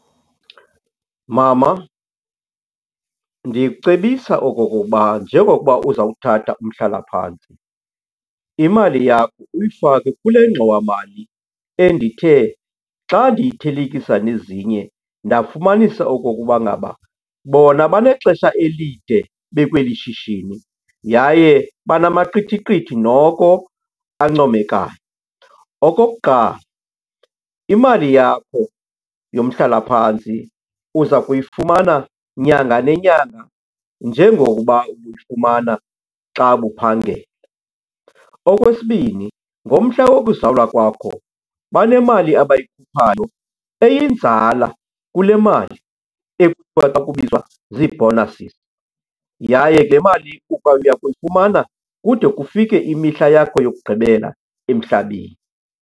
Mama, ndikucebisa okokokuba njengokuba uzawuthatha umhlalaphantsi, imali yakho uyifake kule ngxowamali endithe xa ndiyithelekisa nezinye ndafumanisa okokuba ngaba bona banexesha elide bekweli shishini yaye banamaqithiqithi noko ancomekayo. Okokuqala, imali yakho yomhlalaphantsi uza kuyifumana nyanga nenyanga njengokuba ubuyifumana xa ubuphangela. Okwesibini, ngomhla wokuzalwa kwakho banemali abayikhuphayo, eyinzala kule mali ekuthiwa xa kubizwa zii-bonuses yaye le mali uya kuyifumana kude kufike imihla yakho yokugqibela emhlabeni.